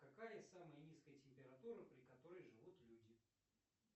какая самая низкая температура при которой живут люди